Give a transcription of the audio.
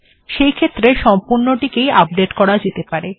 সেইক্ষেত্রে সম্পূর্ণটিকেই আপডেট্ করা যেতে পারে